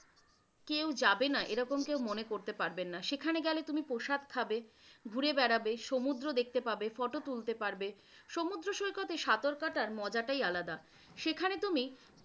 কেউ যাবেনা এরকম কেউ মনে করতে পারবেন নাহ, সেখানে গেলে তুমি প্রসাদ খাবে, ঘুরে বেড়াবে, সমুদ্র দেখতে পাবে, ফটো তুলতে পারবে । সমুদ্র সৈকতে সাতার কাঁটার মজাটাই আলাদা। সেইখানে তুমি